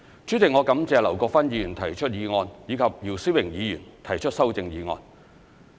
主席，我感謝劉國勳議員提出議案，以及姚思榮議員提出修正案。